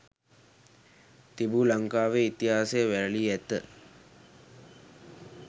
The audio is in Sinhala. තිබු ලංකාවේ ඉතිහාසය වැළලී ඇත.